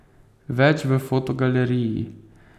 Več v fotogaleriji!